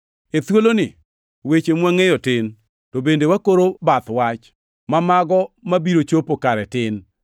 E thuoloni weche mwangʼeyo tin, to bende wakoro bath wach, ma mago mabiro chopo kare tin,